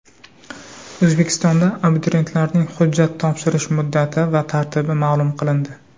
O‘zbekistonda abituriyentlarning hujjat topshirish muddati va tartibi ma’lum qilindi.